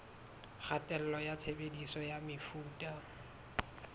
kgatello ya tshebediso ya mefuta